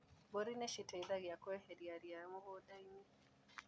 Mbũri nĩciteithagia kweheria ria mũgũndainĩ.